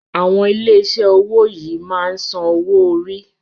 Àwọn ilé iṣé owó yìí máa ń sàn owo orí.